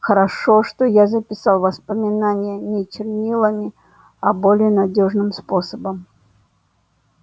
хорошо что я записал воспоминания не чернилами а более надёжным способом